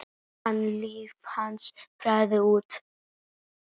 an líf hans fjaraði út.